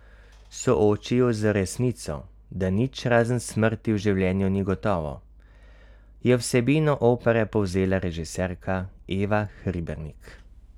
Sooči ju z resnico, da nič razen smrti v življenju ni gotovo, je vsebino opere povzela režiserka Eva Hribernik.